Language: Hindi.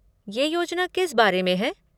ये योजना किस बारे में है?